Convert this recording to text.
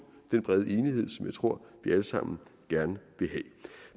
den brede enighed som jeg tror vi alle sammen gerne vil have